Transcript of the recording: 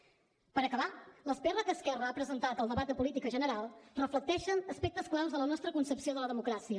per acabar les pr que esquerra ha presentat al debat de política general reflecteixen aspectes clau de la nostra concepció de la democràcia